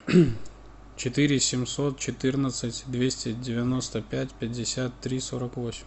четыре семьсот четырнадцать двести девяносто пять пятьдесят три сорок восемь